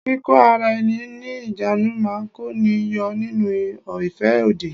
Kíkó ara ẹni ní ìjánu máa kó ni yọ nínú ìfẹ́ òdì.